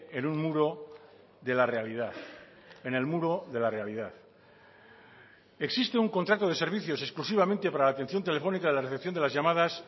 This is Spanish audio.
en un muro de la realidad en el muro de la realidad existe un contrato de servicios exclusivamente para la atención telefónica de la recepción de las llamadas